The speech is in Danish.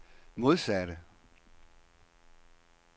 modsatte